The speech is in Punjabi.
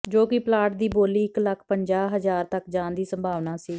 ਜੋ ਕਿ ਪਲਾਟ ਦੀ ਬੋਲੀ ਇੱਕ ਲੱਖ ਪੰਜਾਹ ਹਜ਼ਾਰ ਤੱਕ ਜਾਣ ਦੀ ਸੰਭਾਵਨਾ ਸੀ